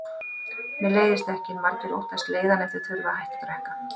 Mér leiðist ekki, en margir óttast leiðann ef þeir þurfa að hætta að drekka.